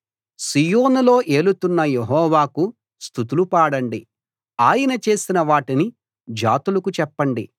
సీయోనులో ఏలుతున్న యెహోవాకు స్తుతులు పాడండి ఆయన చేసిన వాటిని జాతులకు చెప్పండి